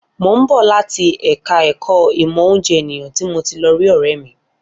Mo ń bọ̀ láti ẹ̀ka ẹ̀kọ́ ìmọ̀ oúnjẹ ènìyàn tí mo ti lọ rí ọ̀rẹ́ mi